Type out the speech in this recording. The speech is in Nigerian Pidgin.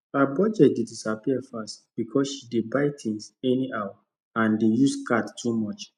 her budget dey disappear fast because she dey buy things anyhow and dey use card too much